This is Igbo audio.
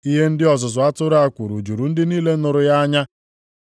Ihe ndị ọzụzụ atụrụ a kwuru juru ndị niile nụrụ ya anya.